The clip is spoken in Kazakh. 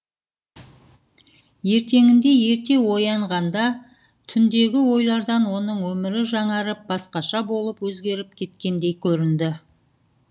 ертеңінде ерте оянғанда түндегі ойлардан оның өмірі жаңарып басқаша болып өзгеріп кеткендей көрінді